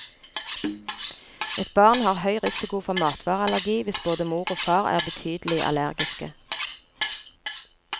Et barn har høy risiko for matvareallergi hvis både mor og far er betydelig allergiske.